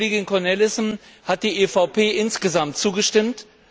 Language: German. Dem Bericht der Kollegin Cornelissen hat die EVP insgesamt zugestimmt.